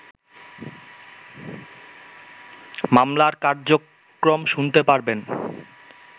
মামলার কর্যক্রম শুনতে পারবেন